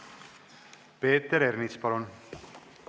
Peeter Ernits, palun!